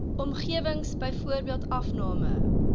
omgewing byvoorbeeld afname